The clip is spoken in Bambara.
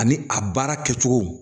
Ani a baara kɛcogo